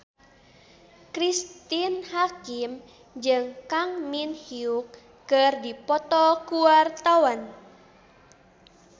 Cristine Hakim jeung Kang Min Hyuk keur dipoto ku wartawan